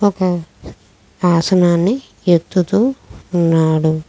ఒక హాసనాన్ని ఎత్తుతూ ఉన్నాడు.